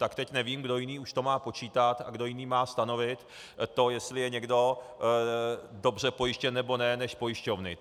Tak teď nevím, kdo jiný už to má počítat a kdo jiný má stanovit to, jestli je někdo dobře pojištěn, nebo ne, než pojišťovny.